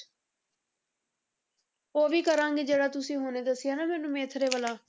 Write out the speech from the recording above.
ਉਹ ਵੀ ਕਰਾਂਗੀ ਜਿਹੜਾ ਤੁਸੀਂ ਹੁਣੇ ਦੱਸਿਆ ਨਾ ਮੈਨੂੰ ਵਾਲਾ